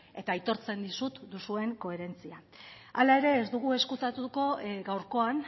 eta aitortzen dizut duzuen koherentzia hala ere ez dugu ezkutatuko gaurkoan